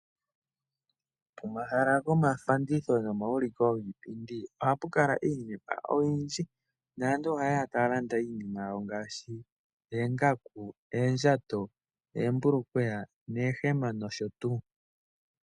Pomahala gomafandithilo nomauliko giipindi oha pu kala iinima oyindji. Aantu oha yeya taalanda iinima ngaashi oongaku, oondjato, oombulukweya ,oohema nosho tuu.